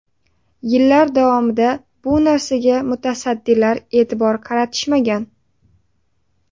Yillar davomida bu narsaga mutasaddilar e’tibor qaratishmagan.